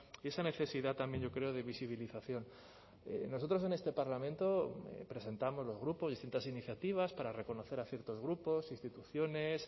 y esa necesidad también yo creo de visibilización nosotros en este parlamento presentamos los grupos distintas iniciativas para reconocer a ciertos grupos instituciones